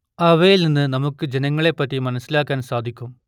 അവയിൽ നിന്ന് നമുക്ക് ജനങ്ങളെ പറ്റി മനസ്സിലാക്കാൻ സാധിക്കും